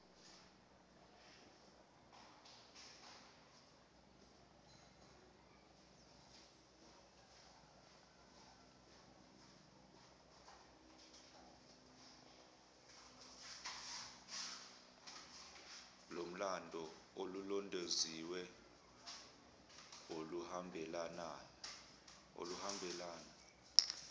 lomlando olulondoloziwe oluhambelana